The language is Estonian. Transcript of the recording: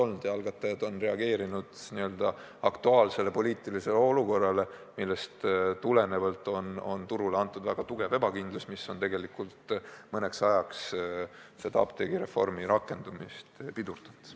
Nüüd on algatajad reageerinud n-ö aktuaalsele poliitilisele olukorrale, millest tulenevalt valitseb turul suur ebakindlus, mis on mõneks ajaks apteegireformi rakendumist pidurdanud.